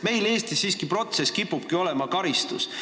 Meil Eestis kipub protsess olema karistus.